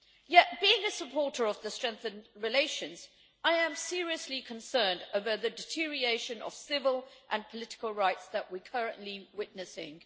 Yet, while being a supporter of strengthened relations, I am seriously concerned over the deterioration of civil and political rights that we are currently witnessing.